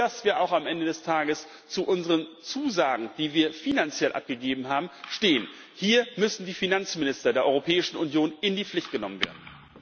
Und dann müssen wir auch am Ende des Tages zu unseren Zusagen, die wir finanziell abgegeben haben, stehen. Hier müssen die Finanzminister der Europäischen Union in die Pflicht genommen werden.